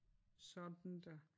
Sådan da